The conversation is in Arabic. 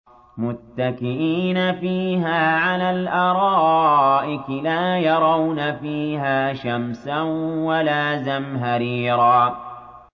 مُّتَّكِئِينَ فِيهَا عَلَى الْأَرَائِكِ ۖ لَا يَرَوْنَ فِيهَا شَمْسًا وَلَا زَمْهَرِيرًا